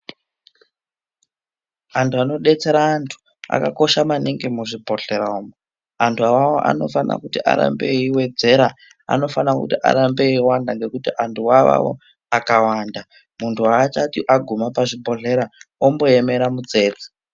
Antu anodetsera antu akakosha maningi muzvibhohlera umu. Antu awawo afana kuramba eiwedzera, anofana kuti arambe eiwanda ngekuti antu awawo akawanda, muntu aachati aguma pazvibhohlera omboemera mutsetse.